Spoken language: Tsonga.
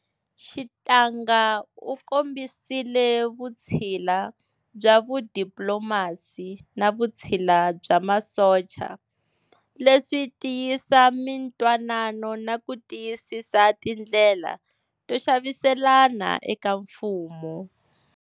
Xitanga u kombisile vutshila bya vudiplomasi na vutshila bya masocha leswi tiyisa mintwanano naku tiyisisa tindlela to xaviselana eka Mfumo.